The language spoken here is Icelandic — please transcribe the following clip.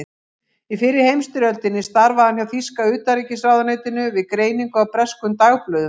Í fyrri heimsstyrjöldinni starfaði hann hjá þýska utanríkisráðuneytinu við greiningu á breskum dagblöðum.